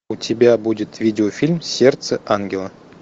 у тебя будет видеофильм сердце ангела